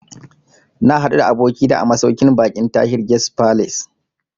Na haɗu da abokina a masauƙin baƙin Tahir Guest Falace